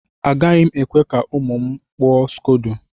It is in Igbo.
Agaghị m ekwe ka ụmụ m barb scodo.